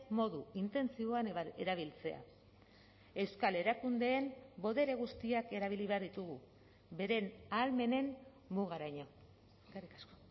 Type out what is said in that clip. modu intentsiboan erabiltzea euskal erakundeen botere guztiak erabili behar ditugu beren ahalmenen mugaraino eskerrik asko